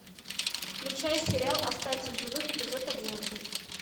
включай сериал остаться в живых эпизод одиннадцать